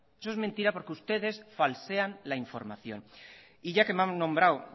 eso es mentira porque ustedes falsean la información y ya que me han nombrado